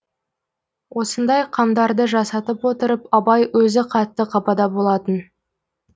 осындай қамдарды жасатып отырып абай өзі қатты қапада болатын